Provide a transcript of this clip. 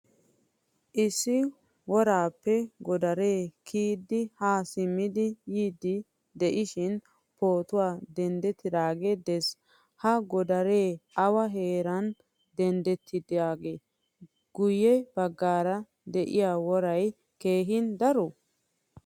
Issi worappe godare kiyidi ha simmidi yiidi de'ishin pootuwaa denttidoge de'ees. Ha godaree awa heeran denttidoge? Guye baggaara de'iyaa woray keehin daroye?